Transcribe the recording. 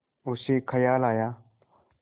उसे ख़याल आया